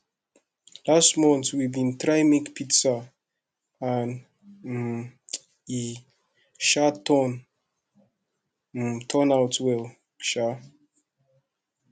last month we bin try make pizza and um e um turn um turn out well um